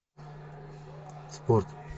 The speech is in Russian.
спорт